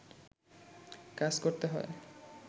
কাজ করতে হয়